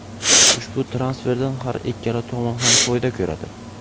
Ushbu transferdan har ikkala tomon ham foyda ko‘radi.